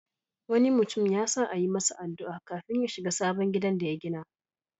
Wani mutum ya sa a yi masa addu'a kafin ya shiga sabon gidan da ya gina.